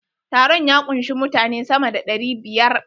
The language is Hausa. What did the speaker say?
Taron ya kunshi mutane sama da ɗari biyar.